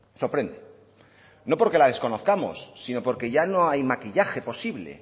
sorprende no porque la desconozcamos sino porque ya no hay maquillaje posible